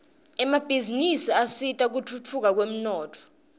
emabhizinisi asita kutfutfuka kwemnotfo